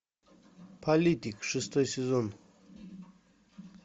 политик шестой сезон